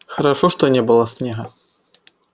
хорошо что не было снега